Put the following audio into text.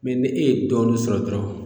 Mɛ ni e ye dɔɔnin sɔrɔ dɔrɔn